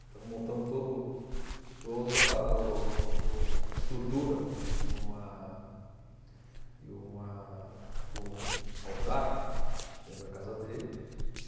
Então montamos todo toda o o uma estrutura de uma de uma de um altar dentro da casa dele.